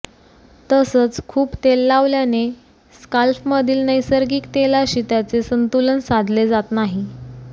तसंच खूप तेल लावल्याने स्काल्फमधील नैसर्गिक तेलाशी त्याचे संतुलन साधले जात नाही